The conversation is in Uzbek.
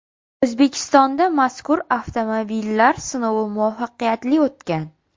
O‘zbekistonda mazkur avtomobillar sinovi muvaffaqiyatli o‘tgan.